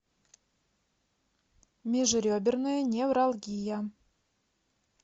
межреберная невралгия